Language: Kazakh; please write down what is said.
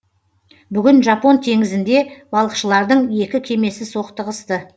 бүгін жапон теңізінде балықшылардың екі кемесі соқтығысты